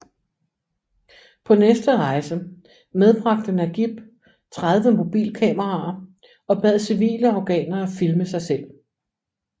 På næste rejse medbragte Nagieb 30 mobilkameraer og bad civile afghanere filme sig selv